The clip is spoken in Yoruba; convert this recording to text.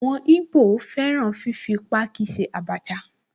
Àwọn ìgbò fẹ́ràn fífi páákí ṣe Abacha